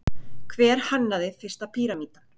Hver hannaði fyrsta píramídann?